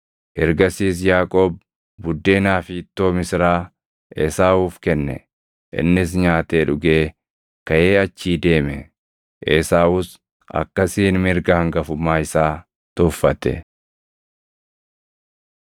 Ergasiis Yaaqoob buddeenaa fi ittoo misiraa Esaawuuf kenne; innis nyaatee dhugee kaʼee achii deeme. Esaawus akkasiin mirga hangafummaa isaa tuffate.